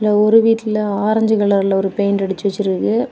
ஒரு வீட்டில ஆரஞ்சு கலர்ல ஒரு பெயிண்ட் அடிச்சு வச்சுருக்கு.